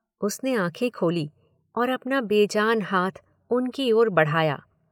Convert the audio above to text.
उसने आंखें खोलीं और अपना बेजान हाथ उनकी ओर बढ़ाया।